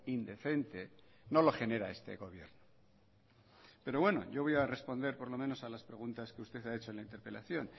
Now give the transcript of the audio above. indecente no lo genera este gobierno pero bueno yo voy a responder por lo menos a las preguntas que usted me ha hecho en la interpelación